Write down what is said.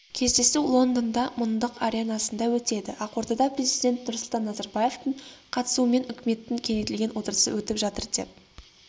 кездесу лондонда мыңдық аренасында өтеді ақордада президент нұрсұлтан назарбаевтың қатысуымен үкіметтің кеңейтілген отырысы өтіп жатыр деп